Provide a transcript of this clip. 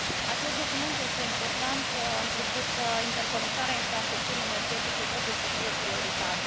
Acest document este important întrucât interconectarea infrastructurii energetice trebuie să fie o prioritate.